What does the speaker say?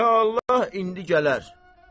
İnşallah indi gələr.